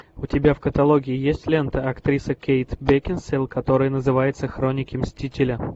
у тебя в каталоге есть лента актриса кейт бекинсейл которая называется хроники мстителя